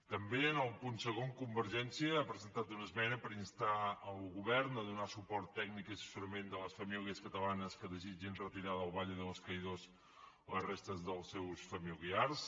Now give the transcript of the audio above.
també en el punt segon convergència ha presentat una esmena per instar el govern a donar suport tècnic i assessorament a les famílies catalanes que desitgin retirar del valle de los caídos les restes dels seus familiars